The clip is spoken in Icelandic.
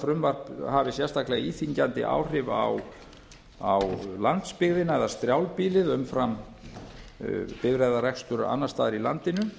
frumvarp hafi sérstaklega íþyngjandi áhrif á landsbyggðina eða strjálbýlið umfram bifreiðarekstur annars staðar í landinu